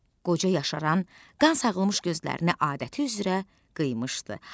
Qoca yaşaran, qan sağılmış gözlərini adəti üzrə qıymışdı,